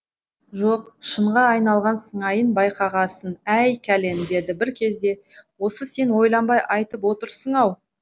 жоқ шынға айналған сыңайын байқағасын әй кәлен деді бір кезде осы сен ойланбай айтып отырсың ау